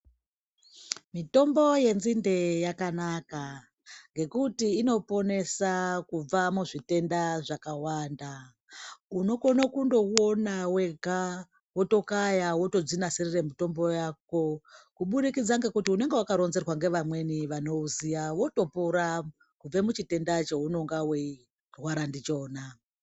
Mitombo yenzinde yakanaka, ngekuti inoponesa kubva muzvitenda zvakawanda. Unokono kundowona wega wotokaya wotodzinasirire mutombo yako, kubudikidza ngekuti unenge wakaronzerwa ngevamweni vanouziya wotopora kubve muchitenda chaunenge uchirwara ndichona.